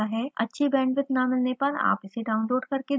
यह spoken tutorial project को सारांशित करता है